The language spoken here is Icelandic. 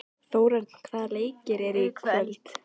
Nú kemur hún, nú kemur hún!